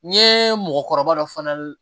N ye mɔgɔkɔrɔba dɔ fana